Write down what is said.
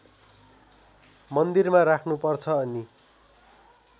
मन्दिरमा राख्नुपर्छ अनि